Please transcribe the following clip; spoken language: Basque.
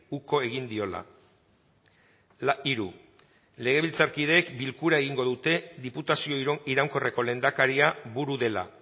uko egin diola hiru legebiltzarkideek bilkura egingo dute diputazio iraunkorreko lehendakaria buru dela